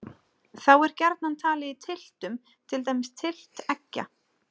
Þá er gjarnan talið í tylftum, til dæmis tylft eggja.